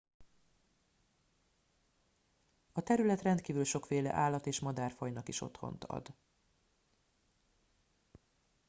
a terület rendkívül sokféle állat és madárfajnak is otthont ad